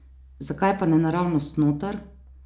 Zakaj pa ne naravnost noter?